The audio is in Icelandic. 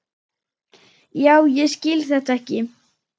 Já, ég skil þetta ekki.